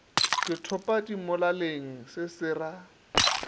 ke thopadimolaleng se se ra